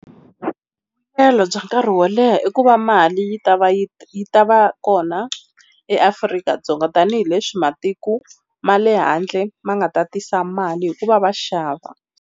Vuyelo bya nkarhi wo leha i ku va mali yi ta va yi yi ta va kona eAfrika-Dzonga tanihileswi matiko ma le handle ma nga ta tisa mali hikuva va xava.